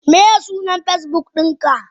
Miye sunan Facebook dinka?